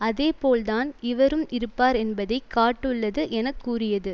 அதே போல் தான் இவரும் இருப்பார் என்பதை காட்டுள்ளது எனக்கூறியது